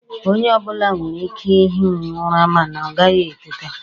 Onye ọbụla nwere ike i hi ụra mana ọ gaghị etete.